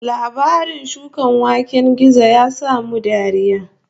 Labarin shukan waken gizo ya sa mu dariya